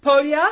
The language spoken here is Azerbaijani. Polya!